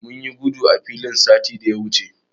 Mun yi gudu a filin satin da ya wuce.